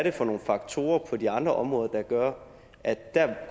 er for nogle faktorer på de andre områder der gør at der